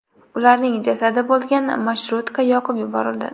Ularning jasadi bo‘lgan marshrutka yoqib yuborildi .